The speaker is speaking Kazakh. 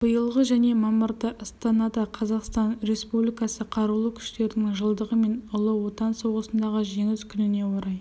биылғы және мамырда астанада қазақстан республикасы қарулы күштерінің жылдығы мен ұлы отан соғысындағы жеңіс күніне орай